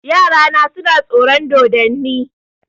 Yarana suna tsoron dodonni.